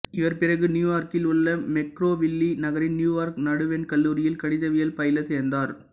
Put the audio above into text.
இவர் பிறகு நியூயார்க்கில் உள்ள மெக்கிராவில்லி நகரின் நியூயார்க் நடுவண் கல்லூரியில் கணிதவியல் பயில சேர்ந்தார்